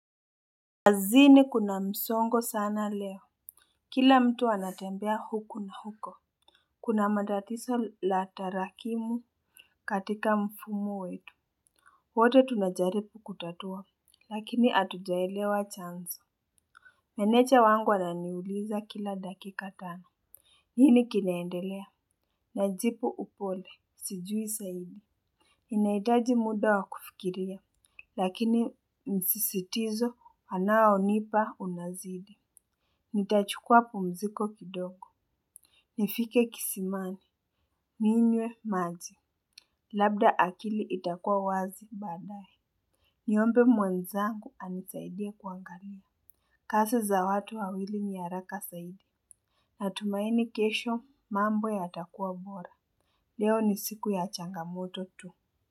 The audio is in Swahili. Kazini kuna msongo sana leo. Kila mtu anatembea huko na huko. Kuna matatizo la tarakimu katika mfumo wetu. Wote tunajaribu kutatua. Lakini hatujaelewa chanzo. Meneja wangu ananiuliza kila dakika tano. Nini kinaendelea. Najibu upole. Sijui sahii. Ninahitaji muda wa kufikiria. Lakini msisitizo anao nipa unazidi. Nitachukua pumziko kidogo nifike kisimani ninywe maji labda akili itakuwa wazi baadaye niombe mwenzangu anisaidie kuangalia kazi za watu wawili ni haraka zaidi natumaini kesho mambo yatakuwa bora leo ni siku ya changamoto tu.